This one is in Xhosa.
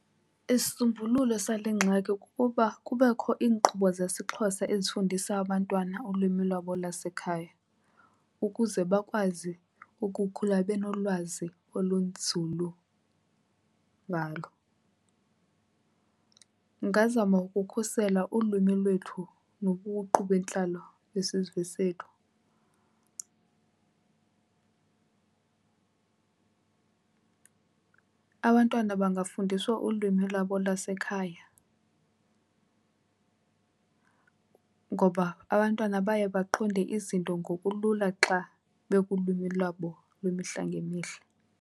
Isisombululo sale ngxaki kukuba kubekho iinkqubo zesiXhosa ezifundisa abantwana ulwimi lwabo lasekhaya ukuze bakwazi ukukhula benolwazi olunzulu ngalo. Ndingazama ukukhusela ulwimi lwethu nobuqu bentlalo besizwe sethu. Abantwana bangafundiswa ulwimi lwabo lwasekhaya ngoba abantwana baye baqonde izinto ngokulula xa bekulwimi lwabo lwemihla ngemihla.